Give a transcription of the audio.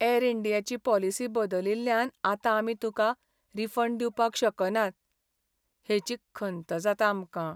यॅर इंडियाची पॉलिसी बदलिल्ल्यान आतां आमी तुका रिफंड दिवपाक शकनात हेची खंत जाता आमकां.